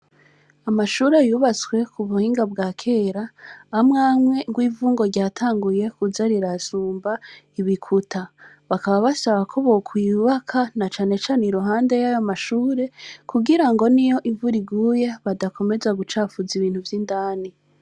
Amashure yubatswe kubuhinga bwakera, amwe amwe gw'ivu ngo ryatanguye kuza rirasumba ibikuta ,bakaba basaba ko bo kubaka na cane cane iruhande yayo mashure ,kugirango niyo imvura iguye badakomeza gucafuza ibintu vy'indani.